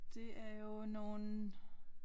Det er jo nogle